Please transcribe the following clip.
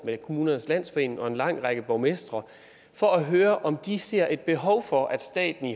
med kommunernes landsforening og en lang række borgmestre for at høre om de ser et behov for at staten